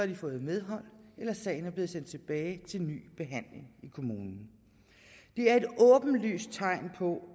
de fået medhold eller sagen er blevet sendt tilbage til ny behandling i kommunen det er et åbenlyst tegn på